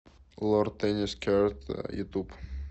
лорд теннис керт ютуб